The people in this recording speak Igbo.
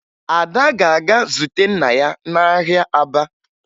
Ada ga-aga zute nna ya n'ahịa Aba